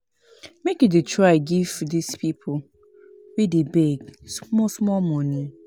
Make you dey try give dis pipo wey dey beg small small moni